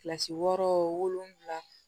Kilasi wɔɔrɔ wolonfila